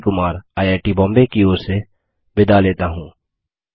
मैं रवि कुमार आईआईटीबॉम्बे की ओर से विदा लेता हूँ